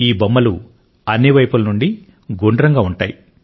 ఈ బొమ్మలు అన్ని వైపుల నుండి గుండ్రంగా ఉంటాయి